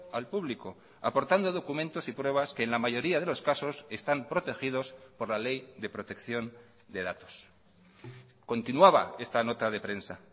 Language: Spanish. al público aportando documentos y pruebas que en la mayoría de los casos están protegidos por la ley de protección de datos continuaba esta nota de prensa